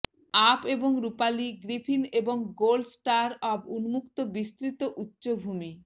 up এবং রূপালী griffin এবং গোল্ড স্টার অব উন্মুক্ত বিস্তৃত উচ্চভূমি